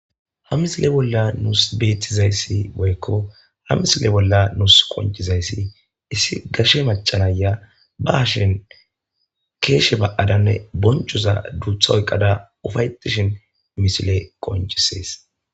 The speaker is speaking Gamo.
Ha misile bolla nuusi betizaysi woyko, ha misile bolla nuusi qoncisizaysi issi gashe maca Naya ba hasheni keeshe ba'ada boncoza duutha oykada ufa'etishn misiley qoncisesi.